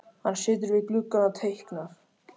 Hann situr við gluggann og teiknar.